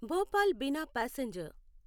Bhopal Bina passenger